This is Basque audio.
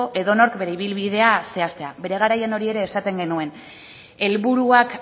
edonork bere ibilbidea zehaztea bere garaian hori ere esaten genuen helburuak